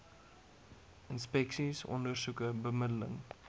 inspeksies ondersoeke bemiddeling